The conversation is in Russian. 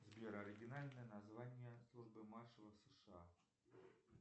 сбер оригинальное название службы маршалов сша